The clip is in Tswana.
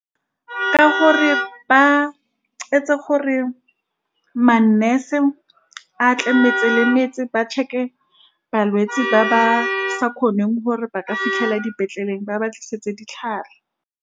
Ka gore ba etsa gore ma-nurse a tlametse le metse, ba check-e balwetsi ba ba sa kgoneng gore ba ka fitlhela ko dipetleleng ba ba tlisetse ditlhare.